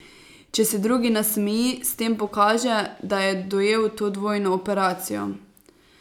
Če se drugi nasmeji, s tem pokaže, da je dojel to dvojno operacijo.